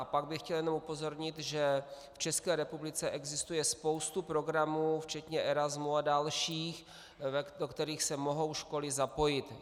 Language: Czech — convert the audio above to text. A pak bych chtěl jenom upozornit, že v České republice existuje spousta programů včetně Erasmu a dalších, do kterých se mohou školy zapojit.